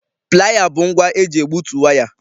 Playa bụ ngwa eji egbutu waya